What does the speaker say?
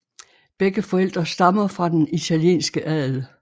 Begge forældre stammer fra den italienske adel